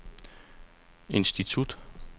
institut